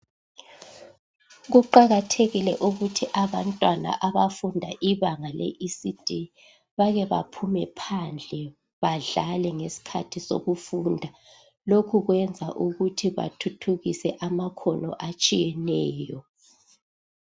Kuqakathekile ukuthi abantwana abafunda ibanga le ECD bakebaphume phandle badlale ngeskhathi sokufunda. Lokhu kwenza ukuthi bathuthukise amakhono atshiyeneyo.